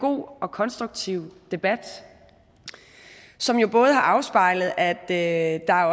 god og konstruktiv debat som jo både har afspejlet at der